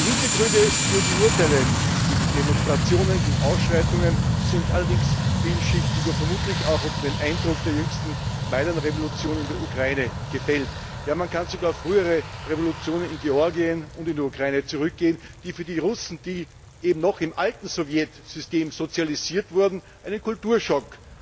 Die Hintergründe für die Urteile gegen Demonstrationen, gegen Ausschreitungen sind allerdings vielschichtig und vermutlich auch unter dem Eindruck der jüngsten Majdan Revolution in der Ukraine gefällt. Man kann sogar zu früheren Revolutionen in Georgien und in der Ukraine zurückgehen, die für die Russen, die eben noch im alten Sowjetsystem sozialisiert wurden, einen Kulturschock